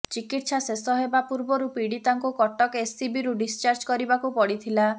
ଚିକିତ୍ସା ଶେଷ ହେବା ପୂର୍ବରୁ ପୀଡ଼ିତାଙ୍କୁ କଟକ ଏସ୍ସିବିରୁ ଡିସ୍ଚାର୍ଜ କରିବାକୁ ପଡ଼ିଥିଲା